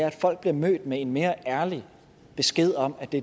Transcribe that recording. at folk bliver mødt med en mere ærlig besked om at det